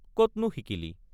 কতনো শিকিলি?